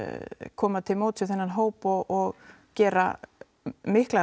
koma til móts við þennan hóp og gera miklar